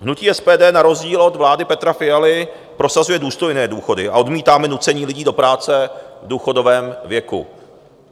Hnutí SPD na rozdíl od vlády Petra Fialy prosazuje důstojné důchody a odmítáme nucení lidí do práce v důchodovém věku.